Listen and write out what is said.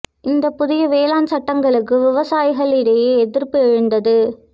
இந்தப் புதிய வேளாண் சட்டங்களுக்கு விவசாயிகள் இடையே எதிா்ப்பு எழுந்தது